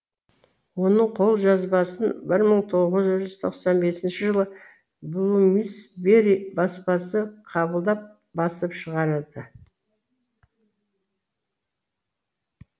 оның қолжазбасын бір мың тоғыз жүз тоқсан бесінші жылы булумусбе ри баспасы қабылдап басып шығарады